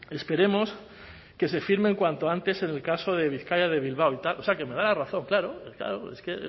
esperemos que se firme cuanto antes en el caso de bizkaia de bilbao o sea que me da la razón claro es que